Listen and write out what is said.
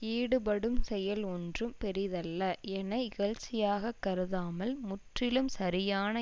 ஈடுபடும் செயல் ஒன்றும் பெரிதல்ல என இகழ்ச்சியாகக் கருதாமல் முற்றிலும் சரியான